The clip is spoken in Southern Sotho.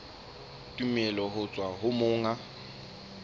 tumello ho tswa ho monga